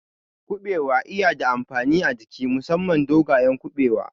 Kuɓewa iya da amfani a jiki musamman dogayen Kuɓewa